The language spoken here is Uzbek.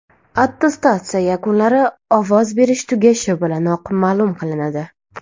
Attestatsiya yakunlari ovoz berish tugashi bilanoq ma’lum qilinadi.